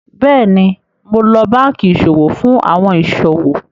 Bẹ́ẹ̀ni, ḿó lọ̀ bankí iṣọwọ̀ fún awọn iṣọwọ̀.